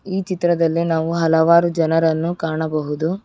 ಈ ಚಿತ್ರದಲ್ಲಿ ನಾವು ಹಲವಾರು ಜನರನ್ನು ಕಾಣಬಹುದು.